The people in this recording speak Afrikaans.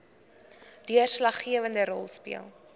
deurslaggewende rol speel